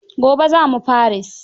Gobe za mu Paris.